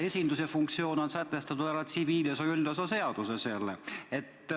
Esindusõigus aga on sätestatud tsiviilseadustiku üldosa seaduses.